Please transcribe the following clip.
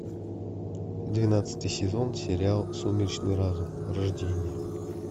двенадцатый сезон сериал сумеречный разум рождение